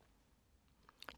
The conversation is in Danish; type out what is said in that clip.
DR2